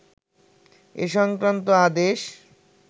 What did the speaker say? এ সংক্রান্ত আদেশ